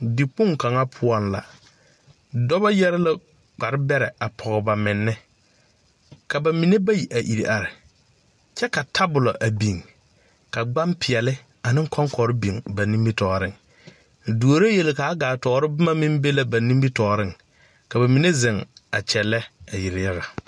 Dikpoŋ kaŋa poɔŋ la dɔbɔ yɛre la kpare bɛrɛ pɔge ba menne ka ba mine bayi a ire are kyɛ ka tabolɔ a biŋ ka gbaŋ peɛɛli aneŋ kɔŋkɔrre biŋ ba nimitooreŋ duoro yel kaa gaa toore bomma meŋ be la ba nimitooreŋ ka ba mine a kyɛllɛ a yeliyaga.